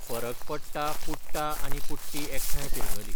फरक पडटा पुट्टा आनी पुट्टी एखठांय पिंरगली.